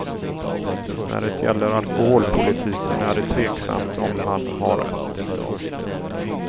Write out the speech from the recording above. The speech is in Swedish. När det gäller alkoholpolitiken är det tveksamt om han har rätt.